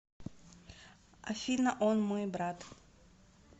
афина он мой брат